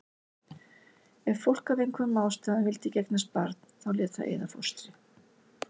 Ef fólk af einhverjum ástæðum vildi ekki eignast barn þá lét það eyða fóstri.